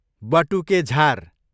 बटुके झार